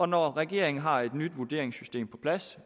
når regeringen har et nyt vurderingssystem på plads